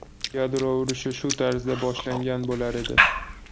Yadro urushi shu tarzda boshlangan bo‘lar edi.